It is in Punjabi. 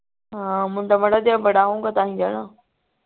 ਹਾਂ ਮੁੰਡਾ ਤਾਂ ਹੀ